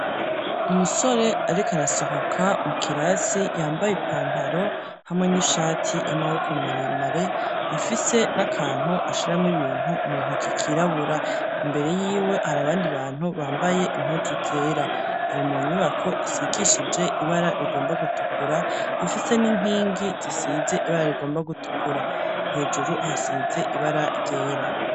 Umusore ariko arasohoka mu kirasi, yambaye ipantaro, hamwe n'ishati y'amaboko maremare, afise n'akantu ashiramo ibintu mu ntoki kirabura; imbere yiwe hari abandi bantu, bambaye impuzu zera; ari mu nyubako isigishije ibara rigomba gutukura, ifise n'inkingi zisize ibara rigomba gutukura; hejuru hasize ibara ryera.